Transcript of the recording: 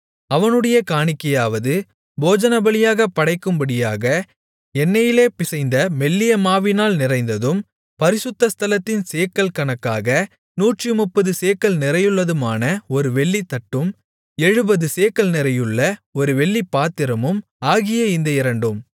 அவனுடைய காணிக்கையாவது போஜனபலியாகப் படைக்கும்படியாக எண்ணெயிலே பிசைந்த மெல்லிய மாவினால் நிறைந்ததும் பரிசுத்த ஸ்தலத்தின் சேக்கல் கணக்காக நூற்றுமுப்பது சேக்கல் நிறையுள்ளதுமான ஒரு வெள்ளித்தட்டும் எழுபது சேக்கல் நிறையுள்ள ஒரு வெள்ளிப்பாத்திரமும் ஆகிய இந்த இரண்டும்